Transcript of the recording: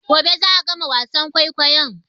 Gobe za'a gama wasan kwaikwayon